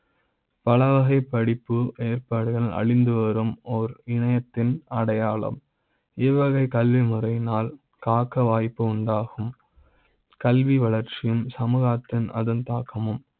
பலவகை படிப்பு ஏற்பாடுகள் அழிந்து வரும் ஓர் இணைய த்தின் அடையாள ம் இவ்வகை கல்விமுறை யினால் காக்க வாய்ப்பு உண்டாகும் கல்வி வளர்ச்சி யும் சமூக த்தில் அதன் தாக்க மும்